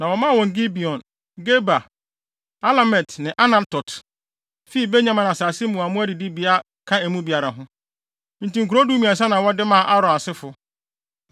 Na wɔmaa wɔn Gibeon, Geba, Alemet ne Anatot fii Benyamin asase mu a mmoa adidibea ka emu biara ho. Enti nkurow dumiɛnsa na wɔde maa Aaron asefo.